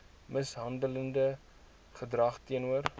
mishandelende gedrag teenoor